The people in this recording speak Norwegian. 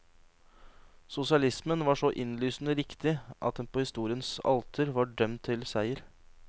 Sosialismen var så innlysende riktig, at den på historiens alter var dømt til seier.